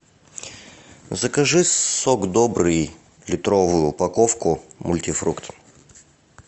закажи сок добрый литровую упаковку мультифрукт